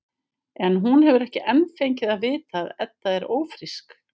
En hún hefur ekki enn fengið að vita að Edda er ófrísk.